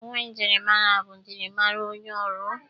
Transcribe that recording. Uwe myịrịmara bụ mjịrịmara ọrụ onye.